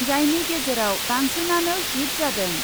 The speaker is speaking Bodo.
जायनि गेजेराव बांसिनानो हिट जादों ।